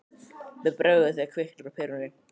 Mér bregður þegar kviknar á perunni